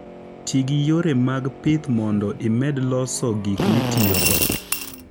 Ti gi yore mag pith mondo imed loso gik mitiyogo.